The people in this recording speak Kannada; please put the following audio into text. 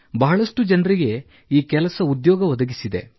ಬಹಳಷ್ಟು ಜನರಿಗೆ ಈ ಕೆಲಸ ಉದ್ಯೋಗ ಒದಗಿಸಿದೆ